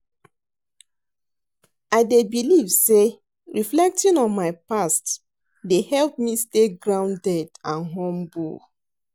I dey believe say reflecting on my past dey help me stay grounded and humble.